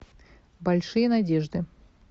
большие надежды